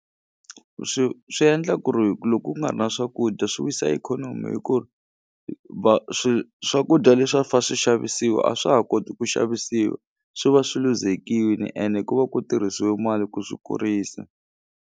Swi swi endla ku ri loko ku nga ri na swakudya swi wisa ikhonomi hi ku va swi swakudya leswi a fa swixavisiwa a swa ha koti ku xavisiwa swi va swi luzekini ene ku va ku tirhisiwe mali ku swi kurisa.